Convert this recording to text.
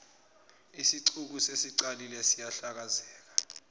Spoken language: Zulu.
isixuku sesiqalile siyahlakazeka